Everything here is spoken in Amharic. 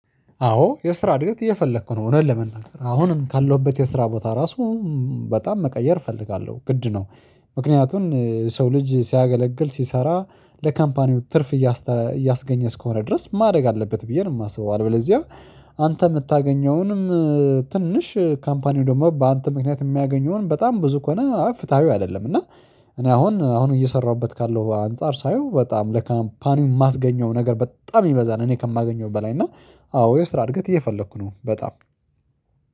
አዎ የስራ እድገት እየፈለኩ ነው እውነት ለመናገር አሁንም ካለሁበት የስራ ቦታ ራሱ በጣም መቀየር እፈልጋለሁ ግድ ነው። ምክንያቱን ሰው ልጅ ሲያገለግል ሲሰራ ለካምፓኒው ትርፍ እያስተ እያስገኘ እስከሆነ ድረስ ማደግ አለበት ብዬ ነው የማስበው። አለበለዚያ አንተ የምታገኘውንም ትንሽ ካምፓኒው ደግሞ በአንተ ምክንያት የሚያገኘውን በጣም ብዙ ከሆነ ፍትሃዊው አይደለም እና። እኔ አሁን አሁን እየሰራሁበት ካለው አንፃር ሳየው በጣም ለካምፓኒው የማስገኘው ነገር በጣም ይበዛል እኔ ከማገኘው በላይ እና። አዎ የስራ እድገት እየፈለኩ ነው በጣም